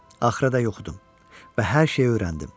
Axıra qədər oxudum və hər şeyi öyrəndim.